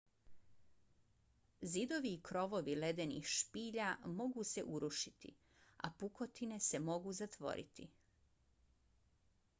zidovi i krovovi ledenih spilja mogu se urušiti a pukotine se mogu zatvoriti